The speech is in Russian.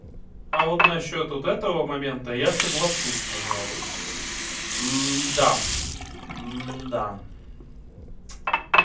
а вот насчёт вот этого момента я соглашусь пожалуй да да